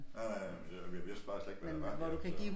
Nej nej men det jeg vidste bare slet ikke hvad der var her så